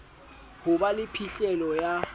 ho ba le phihlelo ya